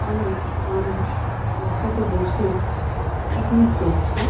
অনেক মানুষ একসাথে বসে পিকনিক করছে।